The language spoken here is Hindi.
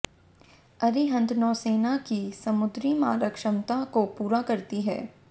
अरिहंत नौसेना की समुद्री मारक क्षमता को पूरा करती है